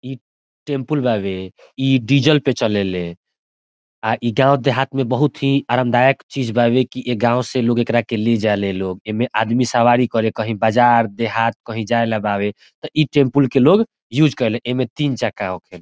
ई टेम्पूल बावे इ डीज़ल पे चलेले आ इ गाँव देहात में बहुत ही आरामदायक चीज़ बावे की ए गाँव से लोग एकरा के ले जा ले लोग एमें आदमी सवारी करे कही बजार देहात कही जाये ला बावे ते इ टेम्पूल के लोग यूज़ करे ले एमें तीन चक्का होखे।